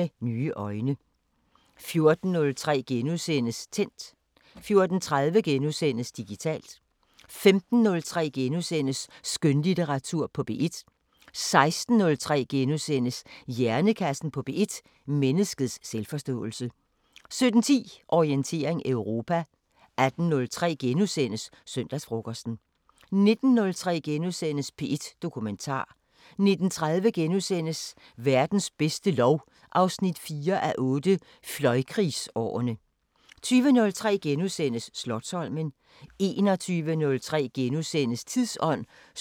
14:03: Tændt * 14:30: Digitalt * 15:03: Skønlitteratur på P1 * 16:03: Hjernekassen på P1: Menneskets selvforståelse * 17:10: Orientering Europa 18:03: Søndagsfrokosten * 19:03: P1 Dokumentar * 19:30: Verdens bedste lov 4:8 – Fløjkrigsårene * 20:03: Slotsholmen * 21:03: Tidsånd *(søn og tor)